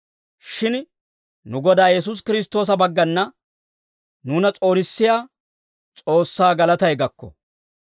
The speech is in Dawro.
Shin nu Godaa Yesuusi Kiristtoosa baggana nuuna s'oonissiyaa S'oossaa galatay gakko.